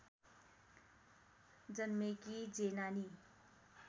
जन्मेकी जेनानी